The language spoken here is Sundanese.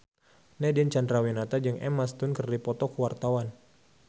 Nadine Chandrawinata jeung Emma Stone keur dipoto ku wartawan